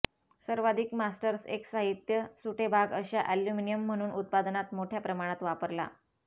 सर्वाधिक मास्टर्स एक साहित्य सुटे भाग अशा अॅल्युमिनियम म्हणून उत्पादनात मोठया प्रमाणात वापरला